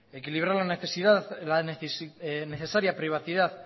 equilibrar la necesaria privacidad